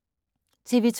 TV 2